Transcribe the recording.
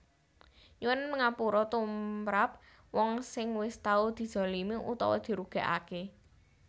Nyuwun ngapura tumrap wong sing wis tau dizalimi utawa dirugékaké